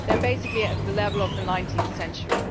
They are basically at the level of the 19th century.